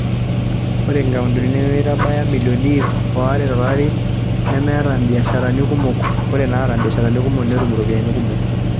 Ore inkaontini nemeitabaya milioni ip o are to lari nemeeta imbiasharani kumok ore naata imbiasharani kumok netum iropiyiani kumok.